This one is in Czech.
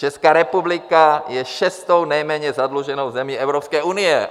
Česká republika je šestou nejméně zadluženou zemí Evropské unie.